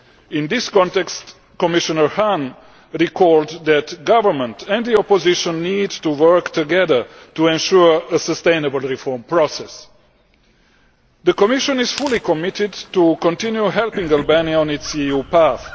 In this context, Commissioner Hahn recalled that the government and the opposition need to work together to ensure a sustainable reform process. The Commission is fully committed to continue helping Albania on its EU path.